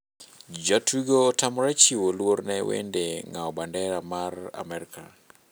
Jatugo otamore chiwo luor ne wend ng'awo bandera mar Amerka.